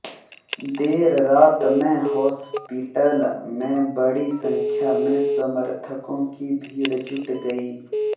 देर रात में हॉस्पिटल में बडी संख्या में समर्थकों की भीड़ जुट गई